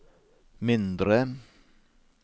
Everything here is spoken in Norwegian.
mindre